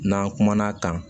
N'an kumana kan